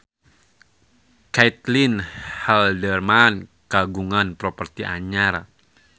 Caitlin Halderman kagungan properti anyar